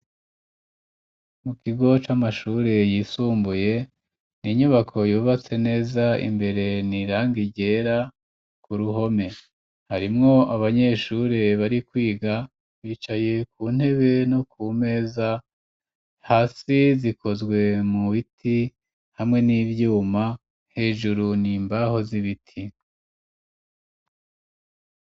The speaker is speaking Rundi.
Mu kigo, c'amashure yisumbuye, ni inyubako, yubatse neza, imbere ni irangi ryera, ku ruhome; harimwo abanyeshure, bari kwiga, bicaye ku ntebe, no ku meza, hasi zikozwe mu biti, hamwe n'ivyuma, hejuru, ni imbaho z'ibiti.